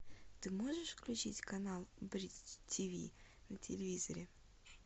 ты можешь включить канал бридж ти ви на телевизоре